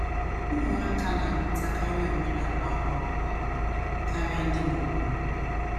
Ụmụaka na - amụtakarị omenala ọhụrụ ngwa ngwa karịa ndị mụrụ ha.